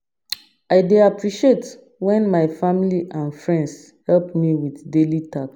I dey appreciate when my family and friends help me with daily tasks.